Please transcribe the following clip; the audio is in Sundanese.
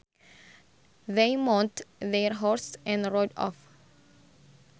They mounted their horses and rode off